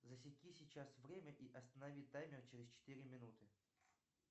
засеки сейчас время и останови таймер через четыре минуты